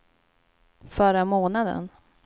förra månaden